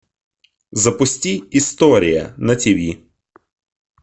запусти история на ти ви